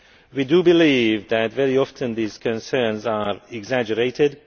We believe that very often these concerns are exaggerated.